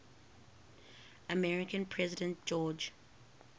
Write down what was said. american president george